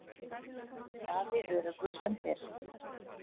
Daði öruggur sem fyrr.